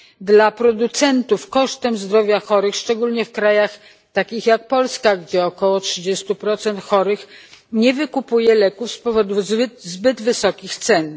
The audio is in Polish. dla producentów kosztem zdrowia chorych, szczególnie w krajach takich jak Polska, gdzie około 30 chorych nie wykupuje leków z powodu zbyt wysokich cen.